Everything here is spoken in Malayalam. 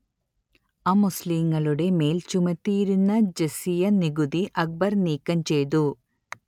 അമുസ്ലീങ്ങളുടെ മേൽ ചുമത്തിയിരുന്ന ജസിയ നികുതി അക്ബർ നീക്കംചെയ്തു